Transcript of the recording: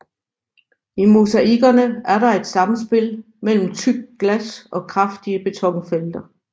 I mosaikkerne er der et samspil mellem tykt glas og kraftige betonfelter